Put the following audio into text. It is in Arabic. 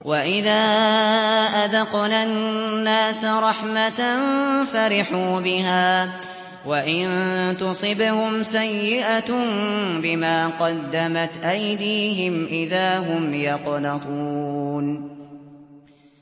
وَإِذَا أَذَقْنَا النَّاسَ رَحْمَةً فَرِحُوا بِهَا ۖ وَإِن تُصِبْهُمْ سَيِّئَةٌ بِمَا قَدَّمَتْ أَيْدِيهِمْ إِذَا هُمْ يَقْنَطُونَ